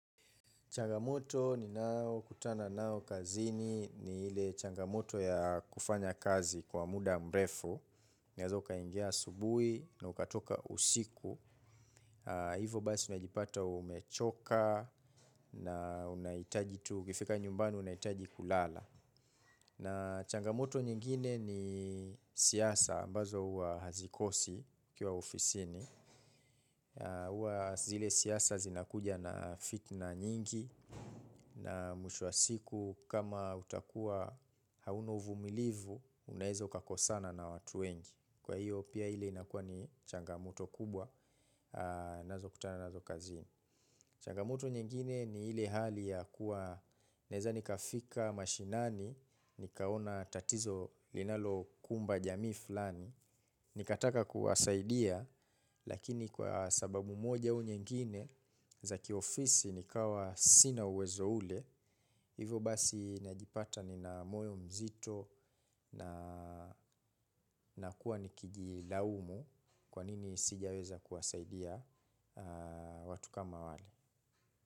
Changamoto ni nayo kutana nayo kazini ni ile changamoto ya kufanya kazi kwa muda mrefu. Unaweza ukaingia asubuhi na ukatoka usiku. Hivo basi unajipata umechoka na unahitaji tu ukifika nyumbani unahitaji kulala. Na changamoto nyingine ni siasa ambazo huwa hazikosi kila ofisini. Huwa zile siasa zinakuja na fitina nyingi. Na mwisho wa siku kama utakua hauna uvumilivu unaeza uka kosana na watu wengi. Kwa hiyo pia ile inakuwa ni changamoto kubwa. Nazo kutana nazo kazini. Changamoto nyingine ni ile hali ya kuwa naeza nika fika mashinani. Nikaona tatizo linalo kumba jamii fulani. Nikataka kuwasaidia. Lakini kwa sababu moja au nyingine za kiofisi nikawa sina uwezo ule. Hivo basi najipata ni na moyo mzito na nakuwa nikiji laumu. Kwa nini sijaweza kuwasaidia watu kama wale.